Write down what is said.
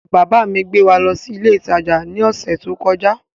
Bàbá mi gbé wa lọ sí ilé ìtajà ní ọ̀sẹ̀ tó kọjá